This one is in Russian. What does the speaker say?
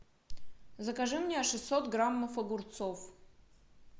закажи мне шестьсот граммов огурцов